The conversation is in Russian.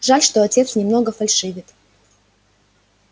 жаль что отец немного фальшивит